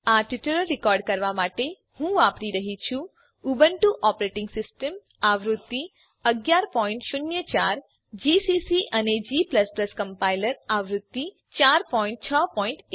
આ tutorial record કરવાં માટે હું વાપરી રહ્યી છું ઉબુન્ટુ ઓપરેટીંગ સીસ્ટમ આવૃત્તિ 1104 જીસીસી અને g કમ્પાઈલર આવૃત્તિ 461